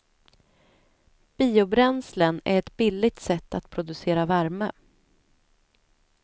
Biobränslen är ett billigt sätt att producera värme.